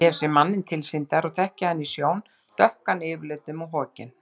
Ég hef séð manninn tilsýndar og þekki hann í sjón, dökkan yfirlitum og hokinn.